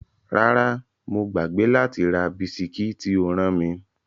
Rárá, mo gbàgbé láti ra bisikí tí o rán mi.